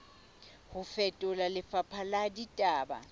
ho fetola lefapha la ditaba